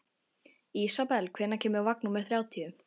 Ísabel, hvenær kemur vagn númer þrjátíu?